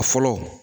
A fɔlɔ